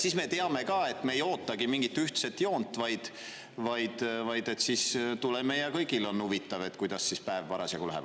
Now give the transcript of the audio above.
Siis me teame ka, et me ei ootagi mingit ühtset joont, vaid tuleme ja kõigil on huvitav, kuidas päev läheb.